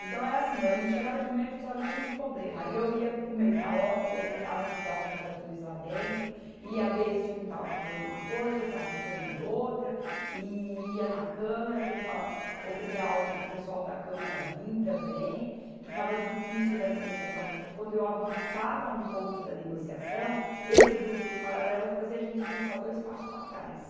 Então, era assim, a gente chegava de manhã e já estava cheio de problema, aí eu ia para o meio da obra, ia tentar ajudar os moradores lá dentro, ia ver se um estava precisando de uma coisa outro estava precisando de outra, e ia na câmara tentar obrigar o pessoal da câmara a vir também, que estava difícil da negociação, porque quando eu avançava um ponto da negociação, esse grupo no paralelo fazia a gente avançar dois passos para trás.